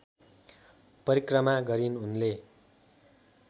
परिक्रमा गरिन् उनले